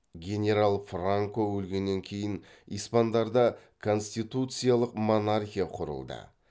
генерал франко өлгеннен кейін испандарда конституциялық монархия құрылды